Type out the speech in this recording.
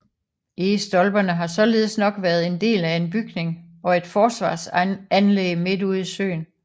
Egestolperne har således nok været en del af en bygning og et forsvarsanlæg midt ude i søen